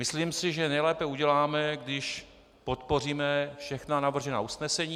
Myslím si, že nejlépe uděláme, když podpoříme všechna navržená usnesení.